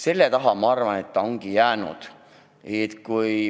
Selle taha ta ongi jäänud.